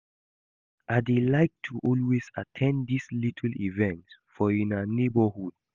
I dey like to always at ten d dis little events for una neighborhood